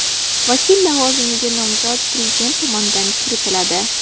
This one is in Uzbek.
Vakil lavozimiga nomzod Prezident tomonidan kiritiladi.